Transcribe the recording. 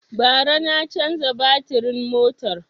Ba ra na canza batirin motar